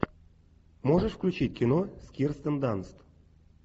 можешь включить кино с кирстен данст